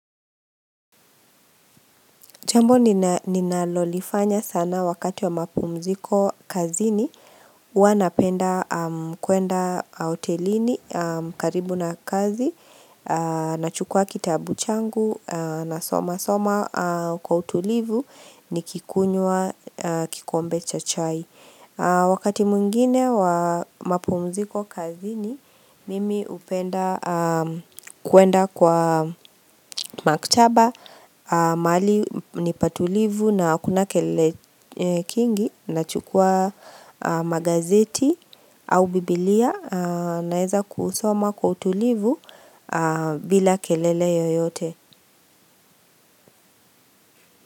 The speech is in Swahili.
Jambo ninalolifanya sana wakati wa mapumziko kazini huwa napenda kuenda hotelini karibu na kazi Nachukua kitabu changu nasomasoma kwa utulivu nikikunywa kikombe cha chai Wakati mwingine wa mapumziko kazini Mimi hupenda kuenda kwa maktaba mahali ni patulivu na kuna kelele kingi Nachukua magazeti au biblia Naeza kusoma kwa utulivu bila kelele yoyote.